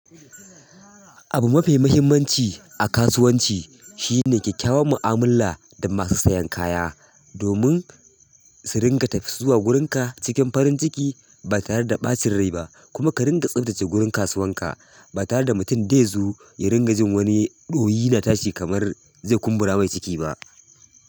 Abu mafi muhimmanci a kasuwanci shine kyakkyawan mu'amula da masu siyan kaya domin su ringa tafi, zuwa wurinka cikin farin ciki ba tare da ɓacin rai ba kuma ka ringa tsaftace wurin kasuwanka ba tare da mutum dai zo ya ringa jin wani ɗoyi na tashi kamar zai kumbura mai ciki ba.